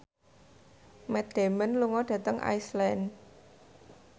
Matt Damon lunga dhateng Iceland